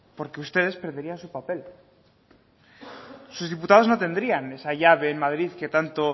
porque ustedes perderían su papel sus diputados no tendrían esa llave en madrid que tanto